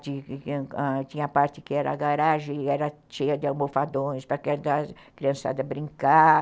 Tinha ãh a parte que era a garagem e era cheia de almofadões para a criançada brincar.